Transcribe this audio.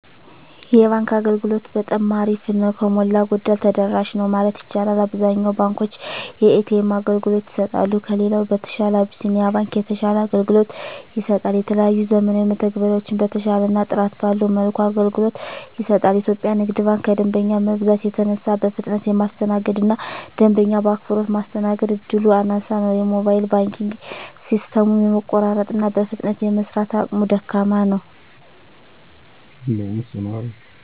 የባንክ አገልግሎት በጠማ አሪፍ ነው። ከሞላ ጎደል ተደራሽ ነው ማለት ይቻላል። አብዛኛውን ባንኮች የኤ.ተ.ኤም አገልግሎት ይሰጣሉ። ከሌላው በተሻለ አብሲኒያ ባንክ የተሻለ አገልግሎት ይሰጣል። የተለያዩ ዘመናዊ መተግበሪያዎችን በተሻለና ጥራት ባለው መልኩ አገልግሎት ይሰጣል። ኢትዮጵያ ንግድ ባንክ ከደንበኛ መብዛት የተነሳ በፍጥነት የማስተናገድ እና ደንበኛ በአክብሮት ማስተናገድ እድሉ አናሳ ነው። የሞባይል ባንኪንግ ሲስተሙም የመቆራረጥ እና በፍጥነት የመስራት አቅሙ ደካማ ነው።